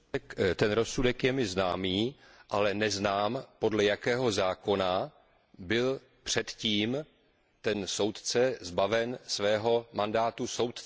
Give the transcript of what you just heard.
Ten rozsudek je mi známý, ale nevím, podle jakého zákona byl předtím ten soudce zbaven svého mandátu soudce.